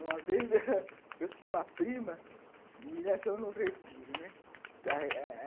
Uma vez, eu tinha uma prima e nós fomos num retiro, né?